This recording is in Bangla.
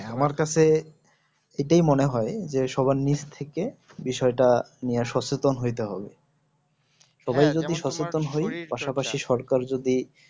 হ্যাঁ আমার কাছে এটাই মনে হয় যে সবার নিচ থেকে বিষয়টা নিয়ে সচেতন হইতে হবে পাশাপাশি সরকার যদি